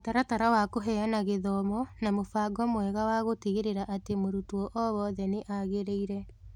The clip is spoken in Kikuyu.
mũtaratara wa kũheana gĩthomo na mũbango mwega wagũtigĩrĩra atĩ mũrutwo o wothe nĩ agĩrĩire.